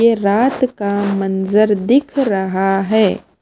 ये रात का मंजर दिख रहा है।